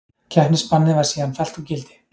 Keppnisbannið var síðan fellt úr gildi